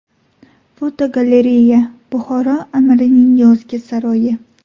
Fotogalereya: Buxoro amirining yozgi saroyi.